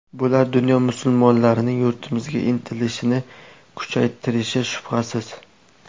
Bular dunyo musulmonlarining yurtimizga intilishini kuchaytirishi shubhasiz.